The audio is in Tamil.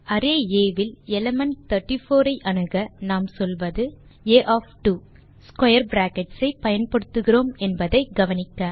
அரே ஆ இல் எலிமெண்ட் 34 ஐ அணுக நாம் சொல்வது ஆ ஒஃப் 2 ஸ்க்வேர் பிராக்கெட்ஸ் ஐ பயன்படுத்துகிறோம் என்பதை கவனிக்க